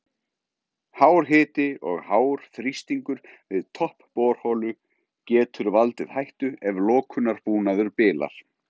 Hár hiti og hár þrýstingur við topp borholu getur valdið hættu ef lokunarbúnaður bilar.